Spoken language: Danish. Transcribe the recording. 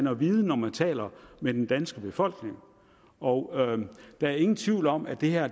at vide når man taler med den danske befolkning og der er ingen tvivl om at det her